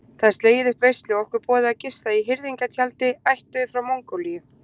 Það er slegið upp veislu og okkur boðið að gista í hirðingjatjaldi ættuðu frá Mongólíu.